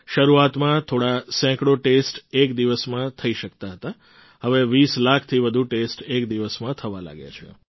શરૂઆતમાં થોડા સેંકડો ટેસ્ટ એક દિવસમાં થઈ શકતા હતા હવે ૨૦ લાખથી વધુ ટેસ્ટ એક દિવસમાં થવા લાગ્યા છે